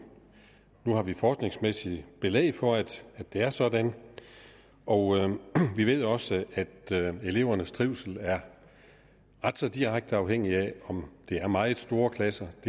nu har vi forskningsmæssigt belæg for at det er sådan og vi ved også at elevernes trivsel er ret så direkte afhængig af de her meget store klasser og